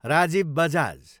Rajiv Bajaj